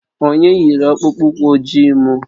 Onye yiri akpụkpọ ụkwụ ojii m?